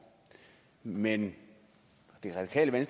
men det radikale